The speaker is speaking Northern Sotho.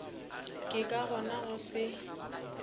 ke ka gona go se